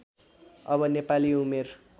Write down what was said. अब नेपाली उमेर